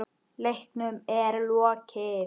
Leiknum er lokið.